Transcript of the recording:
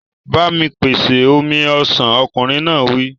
Ba mi pèsè omi ọsàn! Ọkùnrin náà wí.